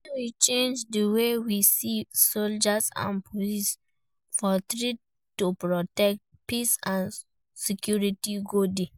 When we change di way we see soldiers and police from threats to protectors, peace and security go dey.